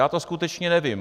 Já to skutečně nevím.